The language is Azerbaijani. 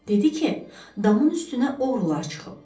Dedi ki, damın üstünə oğrular çıxıb.